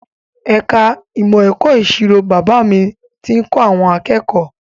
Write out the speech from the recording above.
Ẹ̀ka ìmọ̀ ẹ̀kọ́ ìṣirò Bàbá mi tí ń kọ́ akẹ́kọ̀ọ́